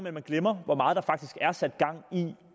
at man glemmer hvor meget der faktisk er sat gang i